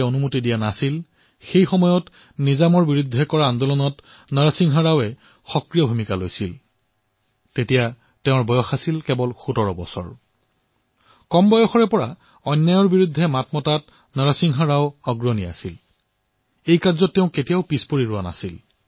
অতিশয় কম বয়সতেই তেওঁ অন্যায়ৰ বিৰুদ্ধে মাত মাতিছিল